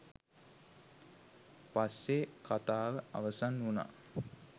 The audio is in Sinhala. පස්සේ කථාව අවසන් වුනා.